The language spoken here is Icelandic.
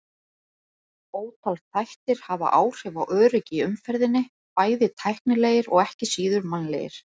Ótal þættir hafa áhrif á öryggi í umferðinni, bæði tæknilegir og ekki síður mannlegir.